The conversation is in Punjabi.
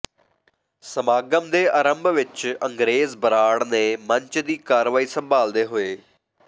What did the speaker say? ਸਮਾਗਮ ਦੇ ਅਰੰਭ ਵਿਚ ਅੰਗਰੇਜ਼ ਬਰਾੜ ਨੇ ਮੰਚ ਦੀ ਕਾਰਵਾਈ ਸੰਭਾਲਦੇ ਹੋਏ ਸ